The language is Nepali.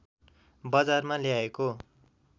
बजारमा ल्याएको